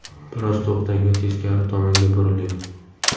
Biroz to‘xtang va teskari tomonga buriling.